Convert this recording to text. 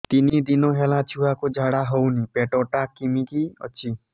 ତିନି ଦିନ ହେଲା ଛୁଆକୁ ଝାଡ଼ା ହଉନି ପେଟ ଟା କିମି କି ଅଛି